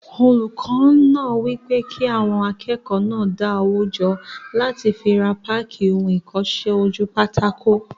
Olùkọ́ náà wí pé kí àwọn akẹ́kọ̀ọ́ náà dá owó jọ láti fi ra páàkì ohun ìkọsẹ́-ojúpátákó